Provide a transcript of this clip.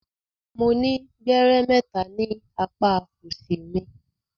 Mo ni gbẹrẹ mẹta ni apa òsì mi.